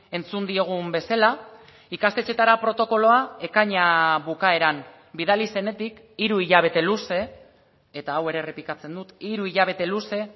entzun diogun bezala ikastetxeetara protokoloa ekaina bukaeran bidali zenetik hiru hilabete luze eta hau ere errepikatzen dut hiru hilabete luze